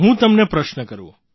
હું તમને પ્રશ્ન કરું